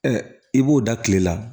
i b'o da kile la